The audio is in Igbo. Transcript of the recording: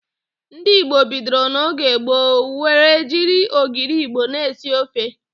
Ndị Igbo bidoro n'oge gboo were jiri ogiri Igbo na-esi ofe.